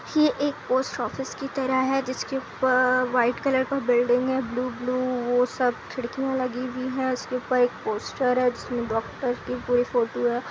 यह एक post office की तरह है। जिसके ऊपर व्हाइट कलर का बिल्डिंग है ब्लू ब्लू वो सब खिड़कियां लगी हुई है उसके ऊपर एक पोस्टर है जिसमें डॉक्टर की पूरी फोटो है।